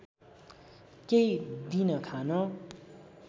केही दिन खान